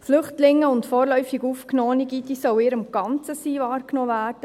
Flüchtlinge und vorläufig Aufgenommene, diese sollen in ihrem ganzen Sein wahrgenommen werden.